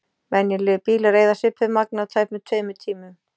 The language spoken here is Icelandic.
Venjulegir bílar eyða svipuðu magni á tæpum tveimur tímum.